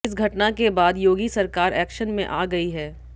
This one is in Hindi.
इस घटना के बाद योगी सरकार एक्शन में आ गई है